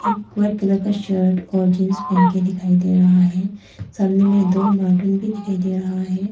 White colour का shirt और jeans पहन के दिखाई दे रहा है सामने में दो भी दिखाई दे रहा है।